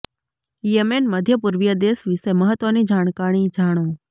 Yemen મધ્ય પૂર્વીય દેશ વિશે મહત્વની જાણકારી જાણો